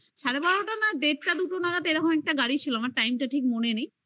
সাড়ে বারোটা না দেড়টা দুটো নাগাদ একটা গাড়ি ছিল আমার time টা ঠিক মনে নেই